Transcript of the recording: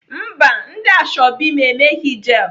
Mba, ndị ashọbị m emeghị jel.